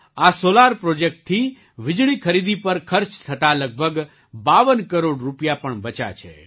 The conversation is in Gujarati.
આ સૉલાર પ્રૉજેક્ટથી વીજળી ખરીદી પર ખર્ચ થતા લગભગ બાવન કરોડ રૂપિયા પણ બચ્યા છે